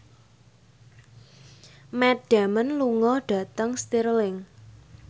Matt Damon lunga dhateng Stirling